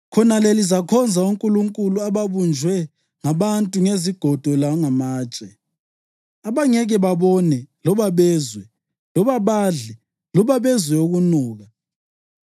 Khonale lizakhonza onkulunkulu ababunjwe ngabantu ngezigodo langamatshe, abangeke babone loba bezwe loba badle loba bezwe ukunuka.